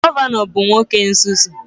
Gọvanọ bụ nwoke nzuzu